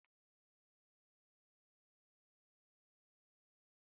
André, hvað er á áætluninni minni í dag?